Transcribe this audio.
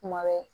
Kuma bɛ